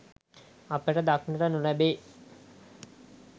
අපට දක්නට නොලැබේ